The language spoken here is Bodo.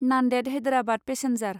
नान्देद हैदराबाद पेसेन्जार